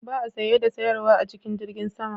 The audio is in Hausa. Ba a saye da sayarwa a cikin jirgin sama